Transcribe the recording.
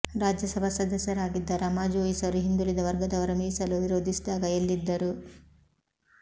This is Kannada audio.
ರಾಜ್ಯಸಭಾ ಸದಸ್ಯರಾಗಿದ್ದ ರಮಾ ಜೋಯಿಸರು ಹಿಂದುಳಿದ ವರ್ಗದವರ ಮೀಸಲು ವಿರೋಧಿಸಿದಾಗ ಎಲ್ಲಿದ್ದರು